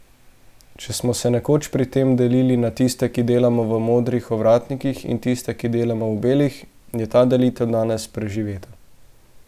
Če smo se nekoč pri tem delili na tiste, ki delamo v modrih ovratnikih, in tiste, ki delamo v belih, je ta delitev danes preživeta.